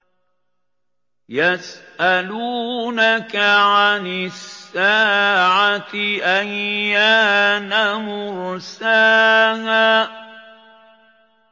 يَسْأَلُونَكَ عَنِ السَّاعَةِ أَيَّانَ مُرْسَاهَا